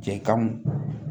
Cɛ kamu